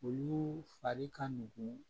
Olu fari ka nugu